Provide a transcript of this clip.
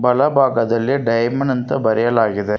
ಬಲ ಭಾಗದಲ್ಲಿ ಡೈಮಂಡ್ ಅಂತ ಬರೆಯಲಾಗಿದೆ.